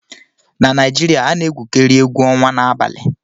na Naijiria a na-egwukarị egwu ọnwa n'abalị